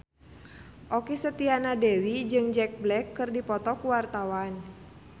Okky Setiana Dewi jeung Jack Black keur dipoto ku wartawan